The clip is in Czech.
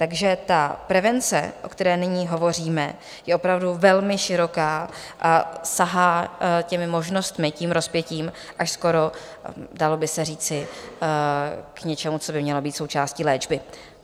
Takže ta prevence, o které nyní hovoříme, je opravdu velmi široká a sahá těmi možnostmi, tím rozpětím, až skoro, dalo by se říci, k něčemu, co by mělo být součástí léčby.